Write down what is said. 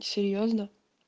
серьёзно